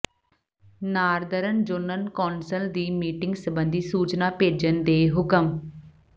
Northern zonal council ਦੀ meeting ਸਬੰਧੀ ਸੂਚਨਾ ਭੇਜਣ ਦੇ ਹੁਕਮ